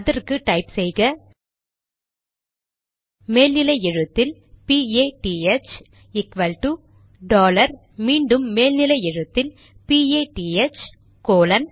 அதற்கு டைப் செய்க மேல் நிலை எழுத்தில் பிஏடிஹெச்PATH ஈக்வல்டு டாலர் மீண்டும் மேல் நிலை எழுத்தில் பிஏடிஹெச்PATH கோலன்